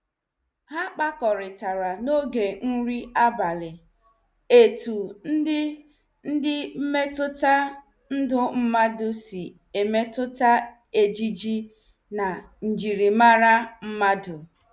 Ha kpakoritara n'oge nri abalị, etu ndi ndi mmetụta ndụ mmadụ si emetụta ejiji na njirimara mmadụ.